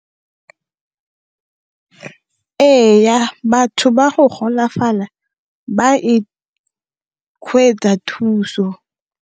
Ee, batho ba go golafala ba e thuso.